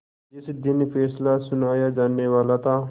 जिस दिन फैसला सुनाया जानेवाला था